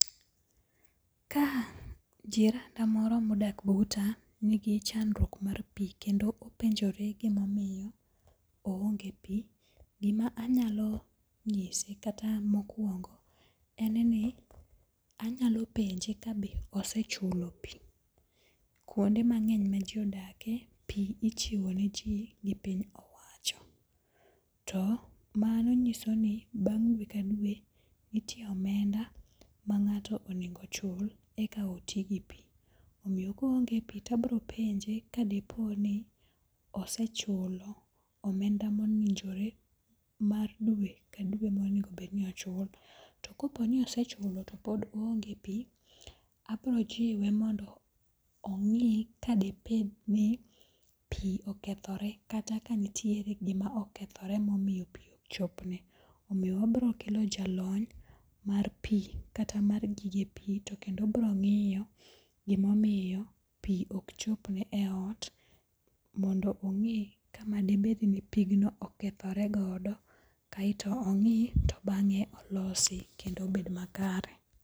Ka jiranda moro modak buta nigi chandruok mar pi kendo openjore gimomiyo oonge pi, gima anyalo nyise kata mokwongo en ni anyalo penje kabe osechulo pi. Kuonde mang'eny ma ji odake, pi ichiwo ne ji gi piny owaccho to mano nyiso ni bang' dwe ka dwe nitie omenda ma ng'ato onego ochul eka oti gi pi. Omiyo ka oonge pi tabro penje kadiponi osechulo omenda mowinjore mar dwe ka dwe monegobedni ochulo. To kopo ni osechulo to pod oonge pi, abrojiwe mondo ong'i ka debedni pi okethore kata ka nitiere gima okethore momiyo pi okchopne. Omiyo wabrokelo jalony mar pi kata mar gige pi to kendo brong'iyo gimomiyo pi okchopne e ot mondo ong'e kama debedni pigno okethore godo kaeto ong'i to bang'e olosi kendo obed makare.